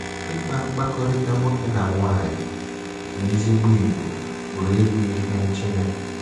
Ịkpa mkpakọrịta nwoke na nwaanyị n'ezigbo ìgwè pụrụ ịbụ ihe nchebe.